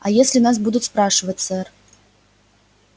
а если нас будут спрашивать сэр